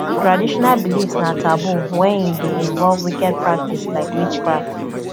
traditional beliefs na taboo when e de involve wicked practice like witchcraft